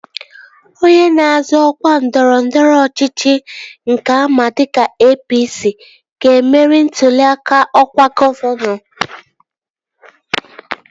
Onye na-azọ ọkwa ndọrọndọrọ ọchịchị nke ama dịka APC, ga-emeri ntụli aka ọkwa gọvanọ